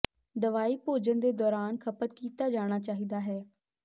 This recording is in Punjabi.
ਦਵਾਈ ਭੋਜਨ ਦੇ ਦੌਰਾਨ ਖਪਤ ਕੀਤਾ ਜਾਣਾ ਚਾਹੀਦਾ ਹੈ